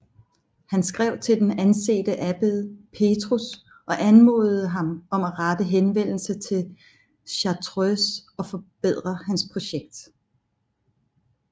Han skrev til den ansete abbed Petrus og anmodede ham om at rette henvendelse til Chartreuse og forberede hans projekt